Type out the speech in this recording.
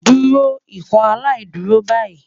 Duro Ikọaláìdúró bayi